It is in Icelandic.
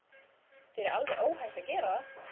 Þér er alveg óhætt að gera það!